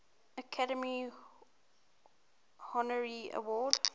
academy honorary award